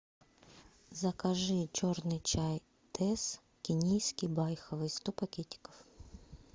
закажи черный чай тесс кенийский байховый сто пакетиков